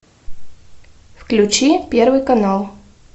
включи первый канал